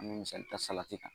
An bɛ misali ta salati kan